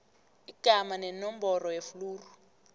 igama nenomboro yefluru